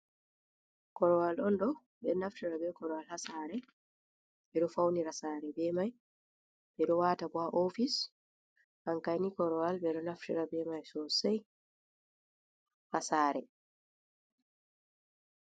Korowal on ɗo naftira be korowal haa saare, ɓe ɗo fawnira saare be may. Ɓe ɗo waata bo a oofis an kani korowal ɓe naftira be may sosay haa saare.